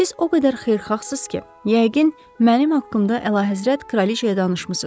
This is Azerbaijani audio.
Siz o qədər xeyirxahsız ki, yəqin mənim haqqımda əlahəzrət kraliçaya danışmısınız.